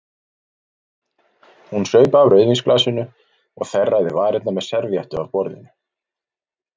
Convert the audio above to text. Hún saup af rauðvínsglasinu og þerraði varirnar með servíettu af borðinu.